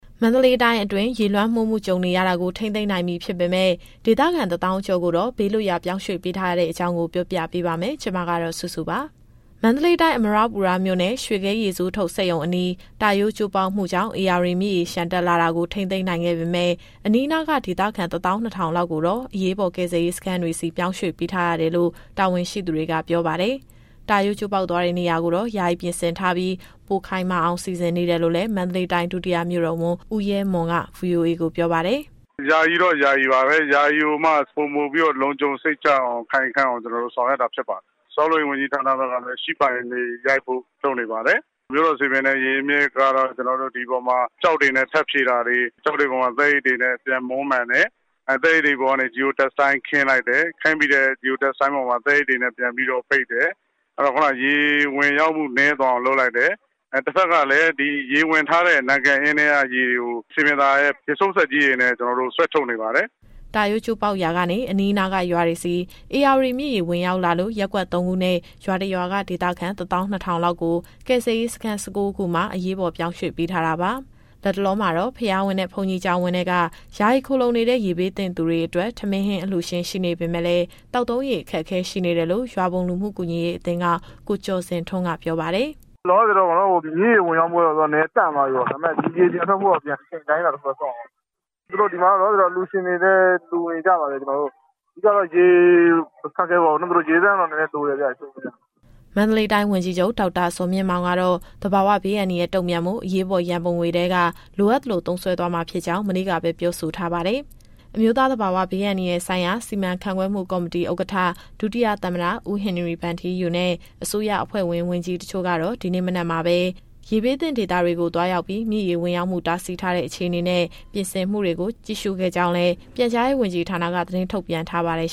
မန္တလေးတိုင်းအတွင်း ရေလွှမ်းမိုးမှု ကြုံနေရတာကို ထိန်းသိမ်းနိုင်ပြီ ဖြစ်ပေမဲ့ ဒေသခံ ၁၀,၀၀၀ ကျော်ကိုတော့ ဘေးလွတ်ရာ ပြောင်းရွှေ့ပေးထားရတဲ့အကြောင်း ဗွီအိုအေမြန်မာပိုင်း သတင်းထောက်စုစုက ပြောပြပေးပါမယ်။ မန္တလေးတိုင်း၊ အမရပူရမြို့နယ်၊ ရွှေဂဲရေဆိုးထုတ်စက်ရုံအနီး တာရိုးကျိုးပေါက်မှုကြောင့် ဧရာဝတီမြစ်ရေ လျှံတက်လာတာကို ထိန်းသိမ်းနိုင်ခဲ့ပေမဲ့ အနီးအနားက ဒေသခံ ၁၂,၀၀၀ လောက်ကိုတော့ အရေးပေါ် ကယ်ဆယ်ရေးစခန်းတွေဆီ ပြောင်းရွှေ့ပေးထားရတယ်လို့ တာဝန်ရှိသူတွေက ပြောပါတယ်။ တာရိုးကျိုးပေါက်သွားတဲ့ နေရာကိုတော့ ယာယီပြင်ဆင်ထားပြီး ပိုခိုင်မာအောင် စီစဉ်နေတယ်လို့လည်း မန္တလေးတိုင်း ဒုတိယမြို့တော်ဝန် ဦးရဲမွန်က VOA ကိုပြောပါတယ်။ “ယာယီတော့ ယာယီပါပဲ။ ယာယီကိုမှ ပိုမိုပြီးတော့ လုံခြုံစိတ်ချအောင် ခိုင်ခံ့အောင် ကျနော်တို့ဆောင်ရွက်တာ ဖြစ်ပါတယ်။ ဆောက်လုပ်ရေး ဝန်ကြီးဌာနဘက်ကလည်း Sheet Pile တွေရိုက်ဖို့ လုပ်နေပါတယ်။ မြို့တော်စည်ပင်နဲ့ ရေအရင်းမြစ်ကတော့ ဒီအပေါ်မှာ ကျောက်တွေနဲ့ထပ်ဖြည့်တာတွေ၊ ကျောက်တွေပေါ်မှာ သဲအိတ်တွေနဲ့ ပြန်မွမ်းမံတယ်။ အဲဒီသဲအိတ်တွေပေါ်ကနေ Geo Textile ခင်းလိုက်တယ်။ ခင်းပြီးတဲ့အပေါ်မှာ သဲအိတ်တွေနဲ့ ပြန်ပြီးတော့ပိတ်တယ်။ အဲတော့ ရေဝင်ရောက်မှုနည်းသွားအောင် လုပ်လိုက်တယ်။ တဘက်ကလည်း ရေဝင်ထားတဲ့ နံကပ်အင်းထဲက ရေတွေကို စည်ပင်သာယာရဲ့ ရေစုပ်စက် ကြီးတွေနဲ့ ဆွဲထုတ်နေပါတယ်။” တာရိုးကျိုးပေါက်ရာက အနီးအနားက ရွာတွေဆီ ဧရာဝတီမြစ်ရေ ဝင်ရောက်လာလို့ ရပ်ကွက် ၃ခုနဲ့ ရွာ တစ်ရွာက ဒေသခံ ၁၂,၀၀၀ လောက်ကို ကယ်ဆယ်ရေးစခန်း ၁၉ ခုမှာ အရေးပေါ် ပြောင်းရွှေ့ပေးထားတာပါ။ လတ်တလောမှာတော့ ဘုရားဝင်းနဲ့ ဘုန်းကြီးကျောင်းဝင်းတွေထဲ ယာယီခိုလှုံနေတဲ့ ရေဘေးသင့်သူတွေအတွက် ထမင်း၊ ဟင်း အလှူရှင်ရှိနေပေမယ့်လည်း သောက်သုံးရေအခက်အခဲရှိနေတယ်လို့ ရွာဘုံလူမှုကူညီရေးအသင်းက ကိုကျော်ဇင်ထွန်းက ပြောပါတယ်။ “အခုလောလောဆယ်တော့ မြစ်ရေဝင်ရောက်မှုက နည်းနည်းတန့်သွားပြီပေါ့။ ဒါပေမယ့် ဒီရေတွေပြန်ထွက်ဖို့က အချိန်အတိုင်းအတာ တခုတော့ စောင့်ရဦးမယ်။ အခုလောလောဆယ်တော့ အလှူရှင်တွေလည်း လှူနေကြပါတယ်။ အဓိကတော့ ရေအခက်အခဲပေါ့နော်။ သူတို့ရေသန့်တော့ နည်းနည်းတော့လိုတယ်ဗျ။” မန္တလေးတိုင်းဝန်ကြီးချုပ် ဒေါက်တာဇော်မြင့်မောင်ကတော့ သဘာဝဘေးအန္တရာယ် တုံ့ပြန်ဖို့ အရေးပေါ် ရန်ပုံငွေထဲက လိုအပ်သလို သုံးစွဲသွားမှာဖြစ်ကြောင်း မနေ့ကပဲ ပြောဆိုထားပါတယ်။ အမျိုးသားသဘာဝဘေးအန္တရာယ်ဆိုင်ရာ စီမံခန့်ခွဲမှုကော်မတီဥက္ကဋ္ဌ ဒုတိယသမ္မတ ဦးဟင်နရီဗန်ထီးယူနဲ့ အစိုးရအဖွဲ့ဝင် ဝန်ကြီးတချို့ကတော့ ဒီနေ့မနက်မှာပဲ ရေဘေးသင့်ဒေသကို သွားရောက်ပြီး မြစ်ရေဝင်ရောက်မှု တားဆီးထားတဲ့ အခြေအနေနဲ့ ပြင်ဆင်မှုတွေကို ကြည့်ရှုခဲ့ကြကြောင်းလည်း ပြန်ကြားရေးဝန်ကြီးဌာနက သတင်းထုတ်ပြန်ထားပါတယ်